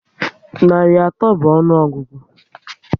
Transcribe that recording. Narị atọ bụ ọnụọgụgụ